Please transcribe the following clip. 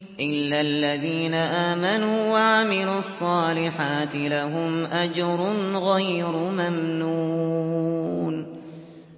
إِلَّا الَّذِينَ آمَنُوا وَعَمِلُوا الصَّالِحَاتِ لَهُمْ أَجْرٌ غَيْرُ مَمْنُونٍ